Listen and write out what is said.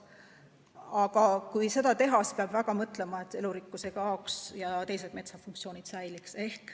Aga kui seda teha, siis peab väga mõtlema, et elurikkus ei kaoks ja metsa teised funktsioonid säiliks.